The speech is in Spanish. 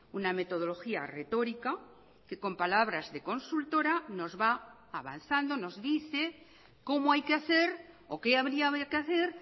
una metodología retórica que con palabras de consultora nos va avanzando nos dice cómo hay que hacer o qué habría que hacer